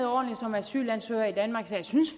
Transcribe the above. ordentligt som asylansøger i danmark så jeg synes